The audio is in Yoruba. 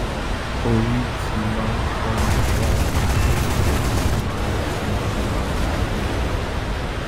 orí ti máa ń fọ mí ṣáá tó bẹ́ẹ̀ tí máà tí máà máa làágùn